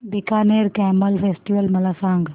Bikaner camel festival मला सांग